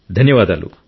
ధన్యవాదాలు